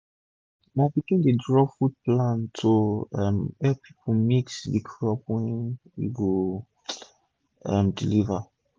my pikin dey draw food plan to um epp us mix the crop wey we go um deliver